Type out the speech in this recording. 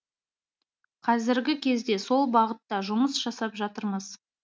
қазіргі кезде сол бағытта жұмыс жасап жатырмыз